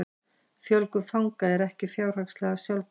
Fjölgun fanga er ekki fjárhagslega sjálfbær